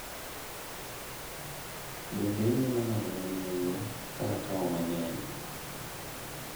bende inyalo ng'ado na nengo ka akawo mang'eny?